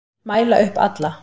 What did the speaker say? Mæla upp alla